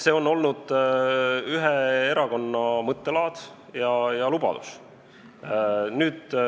See on olnud ühe erakonna mõttelaad ja lubadus.